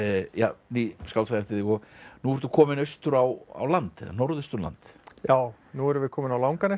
ný skáldsaga eftir þig nú ertu kominn austur á land Norðausturland já nú erum við komin á Langanesið